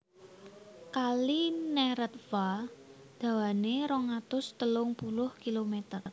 Kali Neretva dawané rong atus telung puluh kilomèter